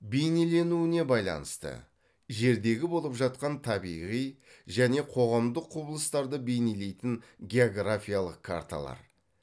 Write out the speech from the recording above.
бейнеленуіне байланысты жердегі болып жатқан табиғи және қоғамдық құбылыстарды бейнелейтін географиялық карталар